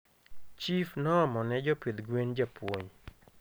chief noomone jopidh gwen japuonj